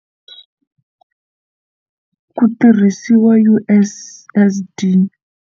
Ku tirhisiwa U_S_S_D.